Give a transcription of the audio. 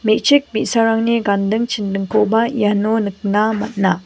me·chik bi·sarangni ganding chindingkoba iano nikna man·a.